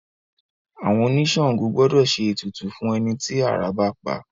Àwọn oníṣàngó gbọ́dọ̀ ṣe ètùtù fún ẹni tí àrá bá pa